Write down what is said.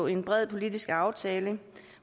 en bred politisk aftale